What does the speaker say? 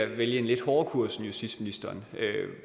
vælge en lidt hårdere kurs end justitsministeren